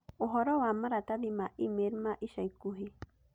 Ũhoro wa Maratathi ma I-Mel ma ica ikuhĩ